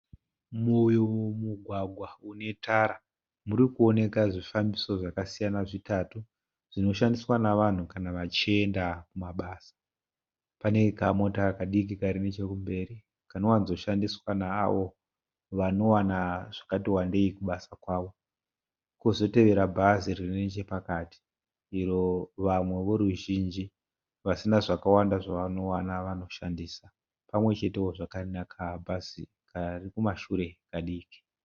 Mumugwagwa unetara murikuoneka zvifambiso zvakasiyana zvitatu zvinoshandiswa navanhu kana vachienda kumabasa. Pane kamota kadiki kari nechekumberi kanowanzoshandiswa naavo vanowana zvakati wandei kubasa kwavo. Kozotevera bhazi ririnechepakati iro vamwe voruzhinji vasina zvakawanda zvavanowana vanoshandisa. Pamwechetewo zvakare nakabhazi karikumashure kadiki.